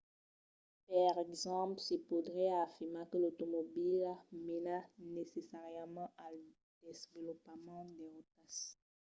per exemple se podriá afirmar que l'automobila mena necessàriament al desvolopament de rotas